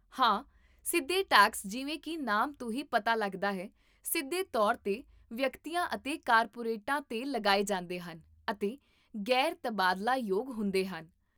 ਹਾਂ, ਸਿੱਧੇ ਟੈਕਸ ਜਿਵੇਂ ਕੀ ਨਾਮ ਤੋਂ ਹੀ ਪਤਾ ਲੱਗਦਾ ਹੈ, ਸਿੱਧੇ ਤੌਰ 'ਤੇ ਵਿਅਕਤੀਆਂ ਅਤੇ ਕਾਰਪੋਰੇਟਾਂ 'ਤੇ ਲਗਾਏ ਜਾਂਦੇ ਹਨ ਅਤੇ ਗ਼ੈਰ ਤਬਾਦਲਾਯੋਗ ਹੁੰਦੇ ਹਨ